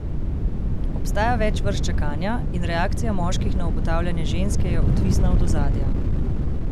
Obstaja več vrst čakanja in reakcija moških na obotavljanje ženske je odvisna od ozadja.